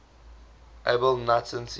edible nuts and seeds